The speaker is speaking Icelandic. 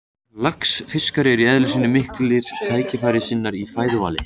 Laxfiskar eru í eðli sínu miklir tækifærissinnar í fæðuvali.